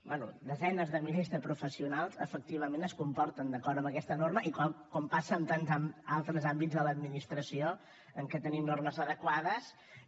bé desenes de milers de professionals efectivament es comporten d’acord amb aquesta norma com passa en tants altres àmbits de l’administració en què tenim normes adequades i